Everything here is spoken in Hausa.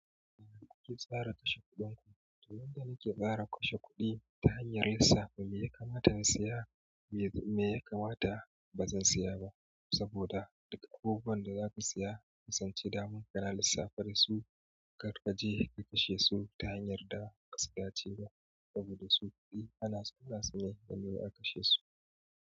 Ina kuke tsarin kashe kuɗin ku? Domin da nike tsara kashe kuɗi ta hanyar lissafa me ya kamata in saya, me kuma ya kamata ba zan saya ba. Saboda daga abubuwan da zaka saya, kasance daman kana lissafe da su, kar kaje ka kashe su ta hanyar da ba ka tsiya ciba saboda su kuɗi ana saka su ne domin a kashe su.